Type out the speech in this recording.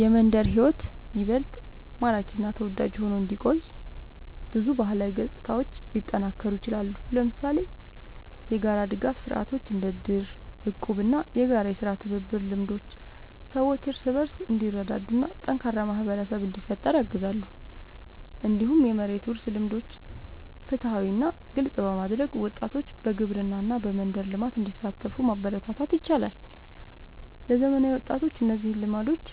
የመንደር ሕይወት ይበልጥ ማራኪ እና ተወዳጅ ሆኖ እንዲቆይ ብዙ ባህላዊ ገጽታዎች ሊጠናከሩ ይችላሉ። ለምሳሌ የጋራ ድጋፍ ስርዓቶች እንደ እድር፣ እቁብ እና የጋራ የሥራ ትብብር ልምዶች ሰዎች እርስ በርስ እንዲረዳዱ እና ጠንካራ ማህበረሰብ እንዲፈጠር ያግዛሉ። እንዲሁም የመሬት ውርስ ልምዶችን ፍትሃዊ እና ግልጽ በማድረግ ወጣቶች በግብርና እና በመንደር ልማት እንዲሳተፉ ማበረታታት ይቻላል። ለዘመናዊ ወጣቶች እነዚህን ልምዶች